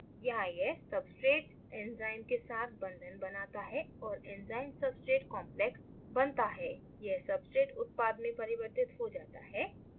यहां यह substrate enzyme के साथ बंधन बनाता है और enzymesubstrate complex बनता है यह substrate उत्पाद में परिवर्तित हो जाता है